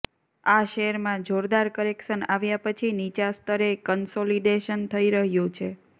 આ શેરમાં જોરદાર કરેક્શન આવ્યા પછી નીચા સ્તરે કન્સોલિડેશન થઈ રહ્યું છે